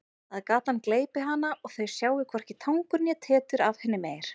Að gatan gleypi hana og þau sjái hvorki tangur né tetur af henni meir.